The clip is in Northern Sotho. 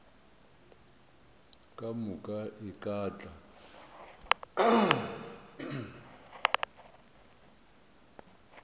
ka moka e ka tla